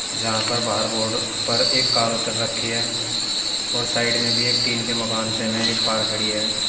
यहां पर बाहर बोर्ड पर एक कार उतर रखी है और साइड में भी एक टीन के मकान से में एक कार खड़ी है।